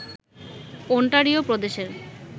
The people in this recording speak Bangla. ওন্টারিও প্রদেশের